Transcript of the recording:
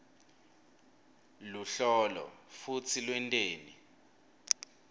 luhlolo futsi lwenteni